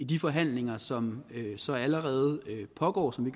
de forhandlinger som så allerede pågår som